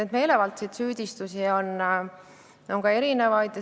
Neid meelevaldseid süüdistusi on ka erinevaid.